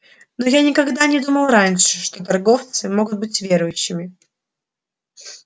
но я никогда не думал раньше что торговцы могут быть верующими